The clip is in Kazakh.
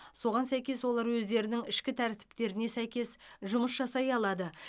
соған сәйкес олар өздерінің ішкі тәртіптеріне сәйкес жұмыс жасай алады